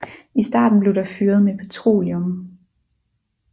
I starten blev der fyret med petroleum